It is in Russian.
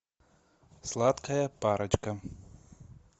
сладкая парочка